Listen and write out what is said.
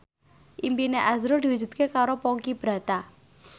impine azrul diwujudke karo Ponky Brata